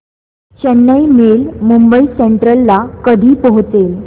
Chennai mail Mumbai central ला कधी पोहचेल